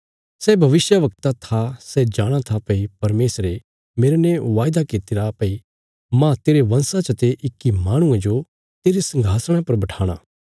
सै भविष्यवक्ता था सै जाणा था भई परमेशरे मेरने वायदा कित्तिरा भई माह तेरे वंशा चते इक्की माहणुये जो तेरे संघासणा पर बठाणा